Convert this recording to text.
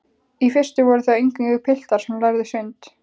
Í fyrstu voru það eingöngu piltar sem lærðu sund.